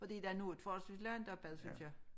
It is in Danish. Fordi der noget forholdsvis langt opad synes jeg